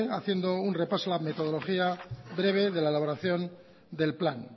haciendo un repaso a la metodología breve de la elaboración del plan